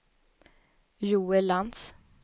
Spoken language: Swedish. Joel Lantz